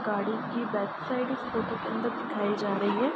गाड़ी की back side इस फोटो के अंदर दिखाई जा रही है।